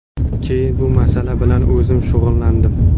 Keyin bu masala bilan o‘zim shug‘ullandim.